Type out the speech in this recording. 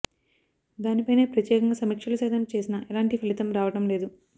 దానిపైనే ప్రత్యేకంగా సమీక్షలు సైతం చేసినా ఎలాంటి ఫలితం రావడం లేదు